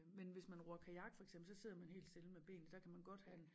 Men hvis man ror kajak for eksempel så sidder man helt stille med benene der kan man godt have